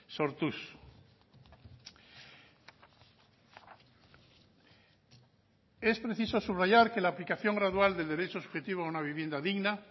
sortuz es preciso subrayar que la aplicación gradual del derecho subjetivo a una vivienda digna